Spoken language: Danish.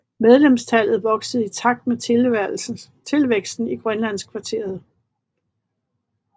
Medlemstallet voksede i takt med tilvæksten i Grønlandskvarteret